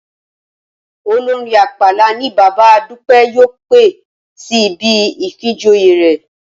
Olórin ápàlà ni bàbá Dúpẹ́ yóò pè sí ibi ìfinijoyè rẹ̀